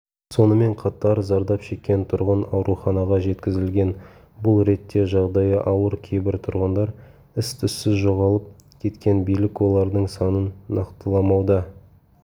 сонымен қатар зардап шеккен тұрғын ауруханаға жеткізілген бұл ретте жағдайы ауыр кейбір тұрғындар із-түссіз жоғалып кеткен билік олардың санын нақтыламауда